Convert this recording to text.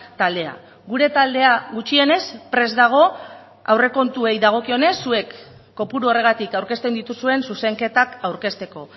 taldea gure taldea gutxienez prest dago aurrekontuei dagokionez zuek kopuru horregatik aurkezten dituzuen zuzenketak aurkezteko